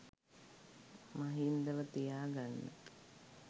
මහින්දව තියා ගන්න